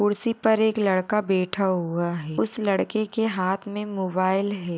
कुर्सी पर एक लड़का बैटा हुआ है उस लड़के के हाथ मे मोबाइल है।